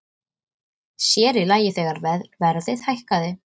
Sér í lagi þegar verðið hækkaði.